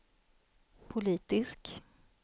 politisk